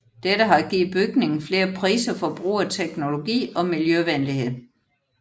Dette har givet bygningen flere priser for brug af teknologi og miljøvenlighed